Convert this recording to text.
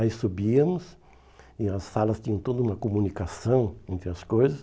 Aí subíamos e as salas tinham toda uma comunicação entre as coisas.